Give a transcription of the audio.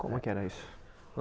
Como é que era isso?